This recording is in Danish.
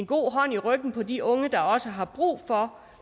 god hånd i ryggen på de unge der også har brug for